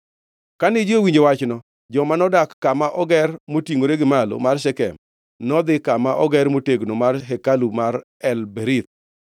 Kane ji owinjo wachno, joma nodak kama oger motingʼore gi malo mar Shekem nodhi kama oger motegno mar hekalu mar El-Berith.